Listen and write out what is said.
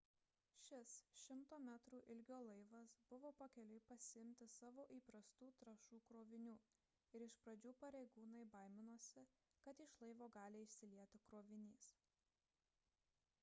šis 100 metrų ilgio laivas buvo pakeliui pasiimti savo įprastų trąšų krovinių ir iš pradžių pareigūnai baiminosi kad iš laivo gali išsilieti krovinys